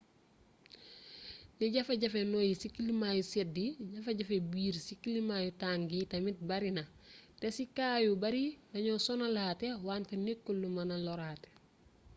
ne jafe-jafe noyyi ci kilimaa yu sedd yi jafe-jafe biir ci kilimaa yu tàng yi tamit barina te ci kaa yu bare dañoo sonnalaate wante nekkul lu mëna loraate